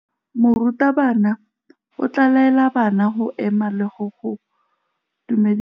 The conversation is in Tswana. Morutabana o tla laela bana go ema le go go dumedisa.